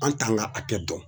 An t'an ka hakɛ dɔn